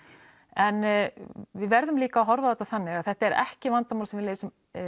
en við verðum líka að horfa á þetta þannig að þetta er ekki vandamál sem við leysum